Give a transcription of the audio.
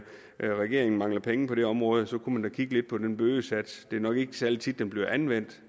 regeringen mangler penge på det område kunne man da kigge lidt på den bødesats det er nok ikke særlig tit den bliver anvendt